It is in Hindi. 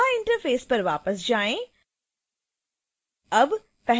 फिर koha interface पर वापस जाएँ